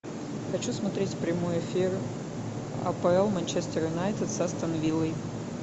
хочу смотреть прямой эфир апл манчестер юнайтед с астон виллой